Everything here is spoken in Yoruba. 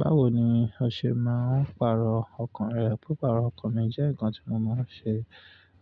Báwo ni o ṣe máa ń pàrọ̀ ọkàn rẹ? Pípàrọ̀ ọkàn mi jẹ́ ǹkan tí mo máa ń ṣe,